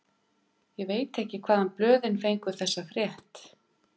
Ég veit ekki hvaðan blöðin fengu þessa frétt.